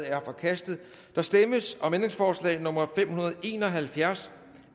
er forkastet der stemmes om ændringsforslag nummer fem hundrede og en og halvfjerds